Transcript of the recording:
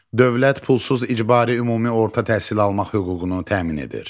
Dövlət pulsuz icbari ümumi orta təhsil almaq hüququnu təmin edir.